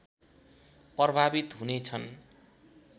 प्रभावित हुनेछन्